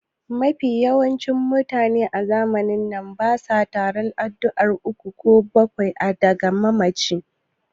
Mafi yawancin mutane a zamanin na basa taron addu'ar uku ko bakwai ga mamaci